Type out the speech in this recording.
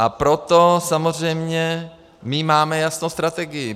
A proto samozřejmě my máme jasnou strategii.